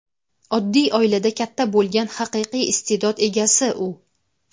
oddiy oilada katta bo‘lgan haqiqiy iste’dod egasi u.